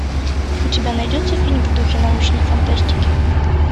у тебя найдется фильм в духе научной фантастики